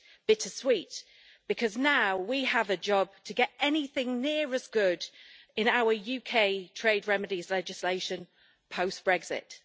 Bittersweet, because now we have a job to get anything near as good in our UK trade remedies legislation post Brexit.